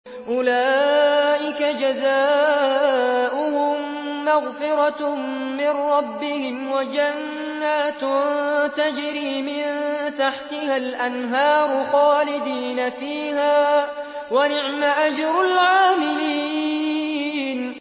أُولَٰئِكَ جَزَاؤُهُم مَّغْفِرَةٌ مِّن رَّبِّهِمْ وَجَنَّاتٌ تَجْرِي مِن تَحْتِهَا الْأَنْهَارُ خَالِدِينَ فِيهَا ۚ وَنِعْمَ أَجْرُ الْعَامِلِينَ